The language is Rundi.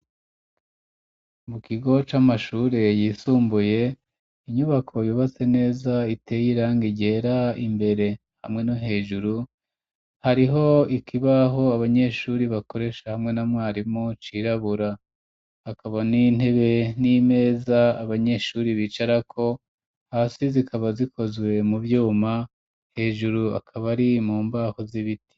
Mu kigo c'amashure yisumbuye inyubako yubatse neza iteye irangi ryera imbere hamwe no hejuru hariho ikibaho abanyeshuri bakoresha hamwe na mwarimu cirabura akaba n'intebe n'imeza abanyeshuri bicarako hasi zikaba zikozwe mu vyuma hejuru akaba ari mu mbaho z'ibiti.